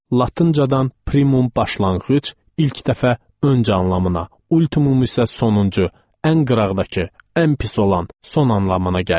Latıncadan primum başlanğıc, ilk dəfə, öncə anlamına, ultimum isə sonuncu, ən qıraqdakı, ən pis olan, son anlamına gəlir.